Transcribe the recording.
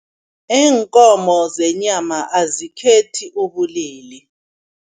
Iinkomo zenyama azikhethi ubulili.